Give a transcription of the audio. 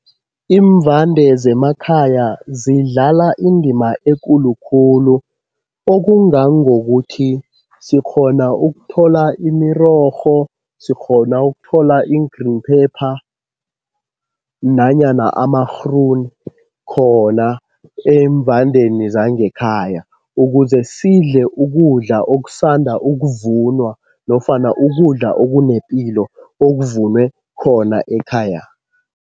Iimvande zemakhaya zidlala indima ekulu khulu okungangokuthi sikghona ukuthola imirorho, sikghona ukuthola iin-green pepper nanyana amarhruni khona eemvandeni zangekhaya ukuze sidle ukudla okusanda ukuvunwa nofana ukudla okunepilo okuvunwe khona ekhaya.